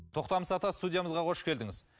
тоқтамыс ата студиямызға қош келдіңіз